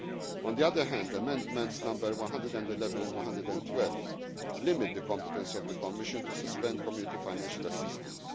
that Member State. On the other hand, Amendments 111 and 112 limit the competence of the Commission to suspend Community